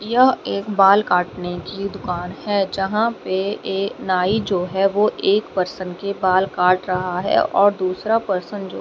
यह एक बाल काटने की दुकान है जहां पे एक नाई जो है वो एक पर्सन के बाल काट रहा है और दूसरा पर्सन जो--